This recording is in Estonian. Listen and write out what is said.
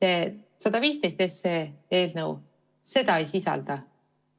Eelnõu 115 sellist tingimust ei sisalda.